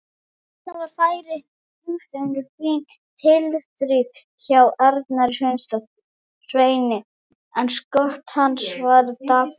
Stuttu seinna var færi hinumegin, fín tilþrif hjá Arnari Sveini en skot hans var dapurt.